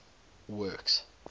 works